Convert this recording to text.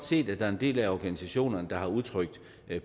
set at der er en del af organisationerne der har udtrykt